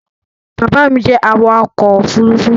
Baba mi jẹ awakọ̀-òfurufú